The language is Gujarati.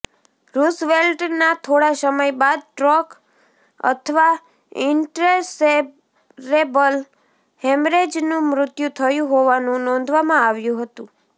રુઝવેલ્ટના થોડા સમય બાદ સ્ટ્રોક અથવા ઇન્ટ્રેસેરેબ્રલ હેમરેજનું મૃત્યુ થયું હોવાનું નોંધવામાં આવ્યું હતું